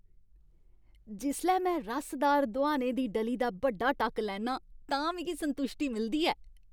जिसलै में रसदार दोहाने दी डली दा बड्डा टक्क लैन्ना आं तां मिगी संतुश्टी मिलदी ऐ।